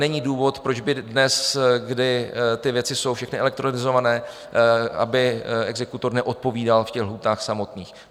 Není důvod, proč by dnes, kdy ty věci jsou všechny elektronizované, aby exekutor neodpovídal v těch lhůtách samotných.